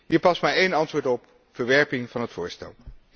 Hier past maar één antwoord op verwerping van het voorstel.